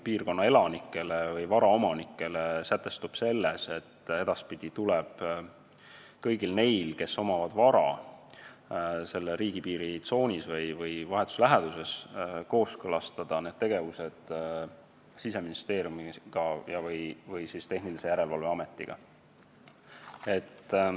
Piirkonna elanikele on sätestatud piirang, mille järgi tuleb edaspidi kõigil neil, kellel on vara riigipiiri tsoonis või selle vahetus läheduses, kooskõlastada need tegevused Siseministeeriumi ja/või Tehnilise Järelevalve Ametiga.